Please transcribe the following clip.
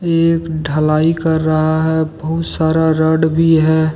ये एक ढलाई कर रहा है बहुत सारा रोड भी है।